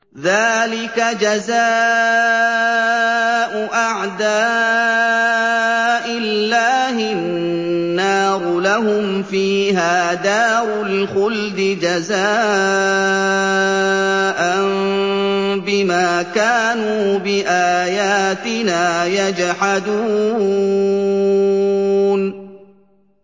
ذَٰلِكَ جَزَاءُ أَعْدَاءِ اللَّهِ النَّارُ ۖ لَهُمْ فِيهَا دَارُ الْخُلْدِ ۖ جَزَاءً بِمَا كَانُوا بِآيَاتِنَا يَجْحَدُونَ